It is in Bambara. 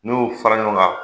N'u y'u fara ɲɔgɔn kan,